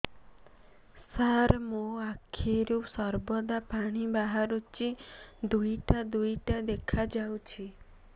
ସାର ମୋ ଆଖିରୁ ସର୍ବଦା ପାଣି ବାହାରୁଛି ଦୁଇଟା ଦୁଇଟା ଦେଖାଯାଉଛି